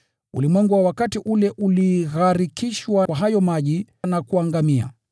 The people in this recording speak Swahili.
Ulimwengu wa wakati ule uligharikishwa kwa hayo maji na kuangamizwa.